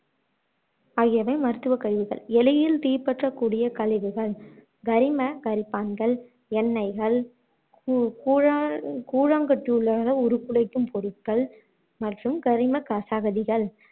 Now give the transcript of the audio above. ஆகியவை மருத்துவ கழிவுகள் எளிதில் தீப்பற்றக் கூடிய கழிவுகள், கரிம கரைப்பாங்கள், எண்ணெய்கள், உருக்குலைக்கும் பொருட்கள் மற்றும் கரிம கச சகதிகள்